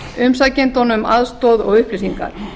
umsækjendum aðstoð og upplýsingar